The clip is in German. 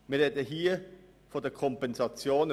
Wir sprechen hier von den Kompensationen.